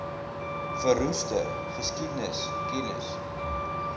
verroeste geskiedenis kennis